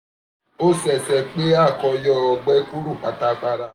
o ṣee ṣe pe a ko yọ ọgbẹ kuro patapata